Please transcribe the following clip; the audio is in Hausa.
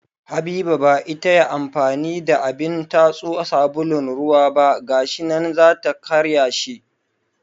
Habiba ba ita ya amfani da abin tatso sabulun ruwa ba ga shi nan za ta karya shi